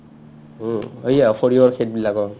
উম্, এইয়া সৰিয়হৰ খেতবিলাকৰ